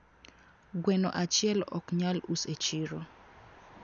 Gweno achiel oknyal us e chiro